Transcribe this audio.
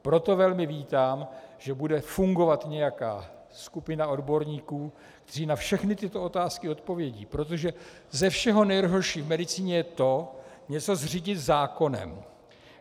Proto velmi vítám, že bude fungovat nějaká skupina odborníků, kteří na všechny tyto otázky odpovědí, protože ze všeho nejhoršího v medicíně je to, něco zřídit zákonem.